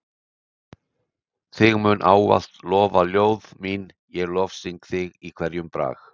Þig munu ávallt lofa ljóð mín ég lofsyng þig í hverjum brag.